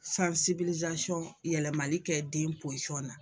yɛlɛmani kɛ den na.